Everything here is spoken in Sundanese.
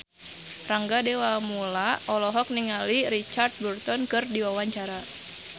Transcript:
Rangga Dewamoela olohok ningali Richard Burton keur diwawancara